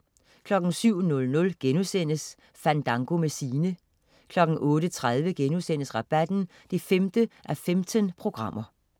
07.00 Fandango med Sine* 08.30 Rabatten 5:15*